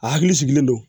A hakili sigilen don